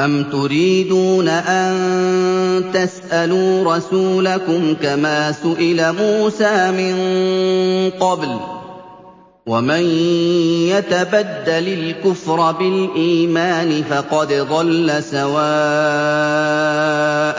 أَمْ تُرِيدُونَ أَن تَسْأَلُوا رَسُولَكُمْ كَمَا سُئِلَ مُوسَىٰ مِن قَبْلُ ۗ وَمَن يَتَبَدَّلِ الْكُفْرَ بِالْإِيمَانِ فَقَدْ ضَلَّ سَوَاءَ